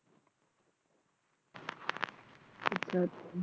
ਅੱਛਾ